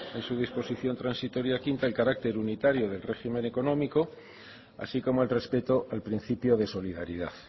en su disposición transitoria quinta el carácter unitario del régimen económico así como el respeto al principio de solidaridad